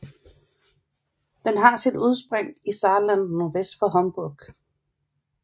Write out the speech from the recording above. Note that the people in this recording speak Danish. Den har sit udsprig i Saarland nordvest for Homburg